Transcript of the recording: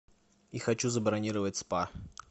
и хочу забронировать спа